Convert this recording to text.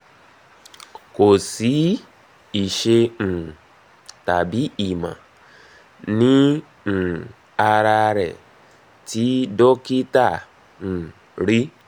ko si ìṣe um tàbí ìmọ̀ ní um ara rẹ̀ tí dokita um rí